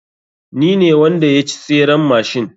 Ni ne wanda yaci tseren machine.